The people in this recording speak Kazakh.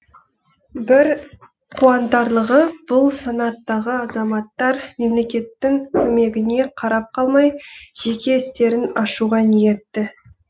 бір қуантарлығы бұл санаттағы азаматтар мемлекеттің көмегіне қарап қалмай жеке істерін ашуға ниетті